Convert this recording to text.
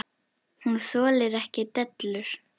Hún þolir ekki dellur.